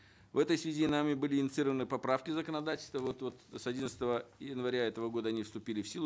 в этой связи нами были инициированы поправки в законодательство вот с одиннадцатого января этого года они вступили в силу